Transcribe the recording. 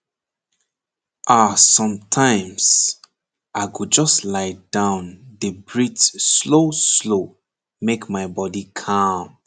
ahsometimes i go just lie down dey breathe slowslow make my body calm